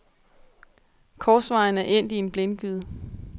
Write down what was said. Korsvejen er endt i en blindgyde.